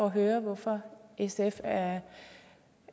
at høre hvorfor sf er